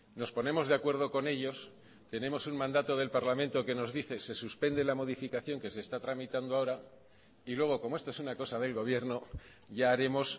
nos ponemos de acuerdo con ellos tenemos un mandato del parlamento que nos dice se suspende la modificación que se está tramitando ahora y luego como esto es una cosa del gobierno ya haremos